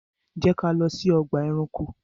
Jẹ́ ká lọ sí ọgbà ẹranko!